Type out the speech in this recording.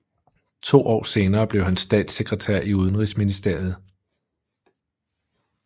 To år senere blev han statssekretær i udenrigsministeriet